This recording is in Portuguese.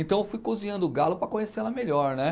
Então eu fui cozinhando o galo para conhecer ela melhor, né?